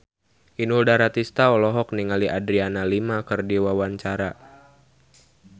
Inul Daratista olohok ningali Adriana Lima keur diwawancara